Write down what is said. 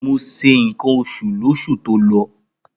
Mo se ǹkan oṣù lóṣù tó lọ.